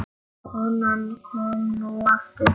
Konan kom nú aftur inn.